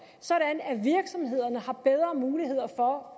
sådan at virksomhederne har bedre muligheder for